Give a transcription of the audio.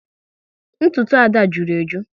Ntụtụ Ada jụrụ eju